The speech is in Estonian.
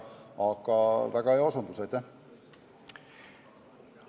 Aga väga hea osutus, aitäh!